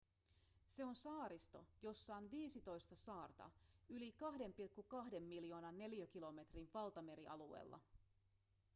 se on saaristo jossa on 15 saarta yli 2,2 miljoonan neliökilometrin valtamerialueella